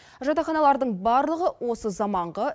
жатақханалардың барлығы осы заманғы